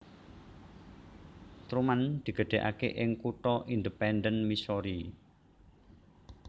Truman digedhekake ing kutha Independence Missouri